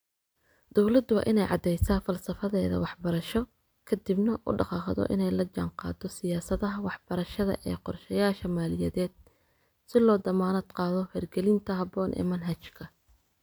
Dawladdu waa inay caddaysaa falsafadeeda waxbarasho, ka dibna, u dhaqaaqdo inay la jaanqaado siyaasadaha waxbarashada iyo qorshayaasha maaliyadeed si loo dammaanad qaado hirgelinta habboon ee manhajka.